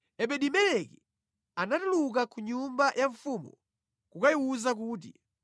Ebedi-Meleki anatuluka ku nyumba ya mfumu kukayiwuza kuti,